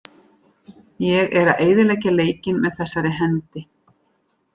Ég er að eyðileggja leikinn með þessari hendi.